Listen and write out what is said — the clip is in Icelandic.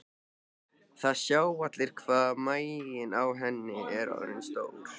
Það sjá allir hvað maginn á henni er orðinn stór.